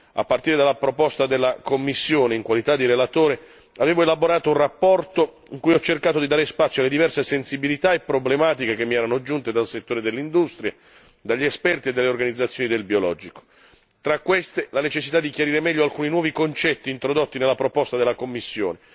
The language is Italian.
A partire dalla proposta della Commissione, in qualità di relatore, avevo elaborato un rapporto cui ho cercato di dare spazio alle diverse sensibilità e problematiche che mi erano giunte dal settore dell'industria, dagli esperti e dalle organizzazioni del biologico tra queste, la necessità di chiarire meglio alcuni nuovi concetti introdotti nella proposta della Commissione.